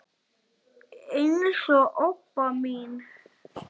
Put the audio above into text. eins og Obba mín.